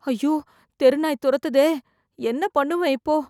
ஐயோ தெருநாய் தொரத்துதே என்ன பண்ணுவ இப்போ